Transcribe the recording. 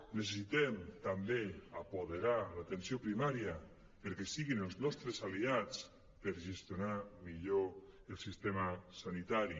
necessitem també apoderar l’atenció primària perquè siguin els nostres aliats per gestionar millor el sistema sanitari